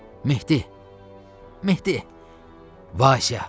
Mehdi, Mehdi, Vasya.